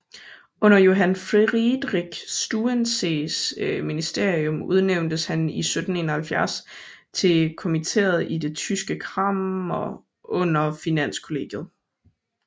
Under Johann Friedrich Struensees ministerium udnævntes han i 1771 til kommiteret i det tyske kammer under Finanskollegiet